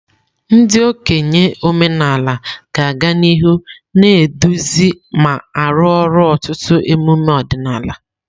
Ndị okenye omenala ga-aga n'ihu na-eduzi ma arụ ọrụ ọtụtụ emume ọdịnala.